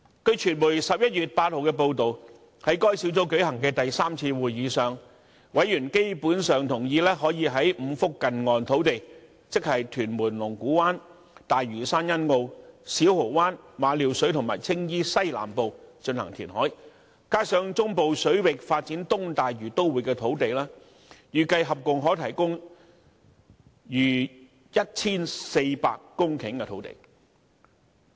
據傳媒11月8日的報道，在該小組舉行的第三次會議上，委員基本上同意可以在5幅近岸土地，即屯門龍鼓灘、大嶼山欣澳、小蠔灣、馬料水及青衣西南部進行填海，加上在中部水域發展東大嶼都會的土地，預計合共可提供逾 1,400 公頃的土地。